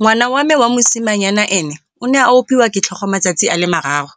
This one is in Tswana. Ngwana wa me wa mosimanyana ene o ne a opiwa ke tlhogo matsatsi a le mararo,